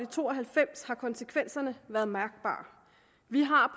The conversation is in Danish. to og halvfems har konsekvenserne været mærkbare vi har